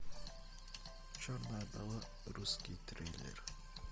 черная вдова русский трейлер